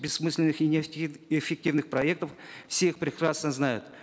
бессмысленных и неэффективных проектов все их прекрасно знают